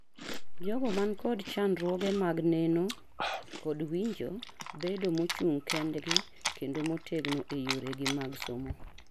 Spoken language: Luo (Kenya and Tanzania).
Jogo man kod chandruoge mag neno kod winjo bedo mo chung' kendgi kendo motegno e yore gi mag somo